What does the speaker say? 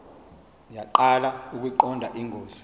yaqala ukuyiqonda ingozi